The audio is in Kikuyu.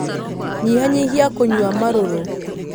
Nyihanyihia kunyua marũrũ.